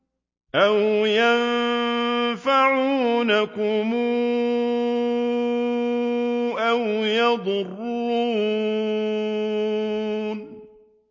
أَوْ يَنفَعُونَكُمْ أَوْ يَضُرُّونَ